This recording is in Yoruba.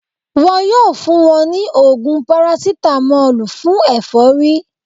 Wọn yóò fún wọn ní ògùn parasitamọ́lù fún ẹ̀fọ́rí